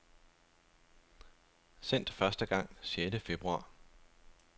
Sendt første gang sjette februar.